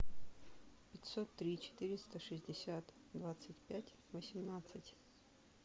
пятьсот три четыреста шестьдесят двадцать пять восемнадцать